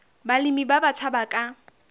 balemi ba batjha ba ka